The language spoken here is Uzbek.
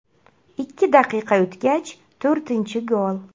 Ikki daqiqa o‘tgach, to‘rtinchi gol.